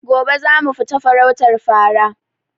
Gobe zamu fita farautar fara